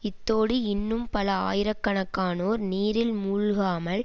இத்தோடு இன்னும் பல ஆயிர கணக்கானோர் நீரில் மூழ்காமல்